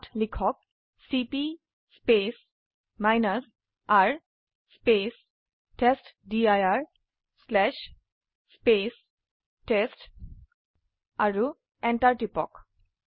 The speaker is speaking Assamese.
ইয়াত লিখক চিপি R টেষ্টডিৰ টেষ্ট আৰু Enter টিপক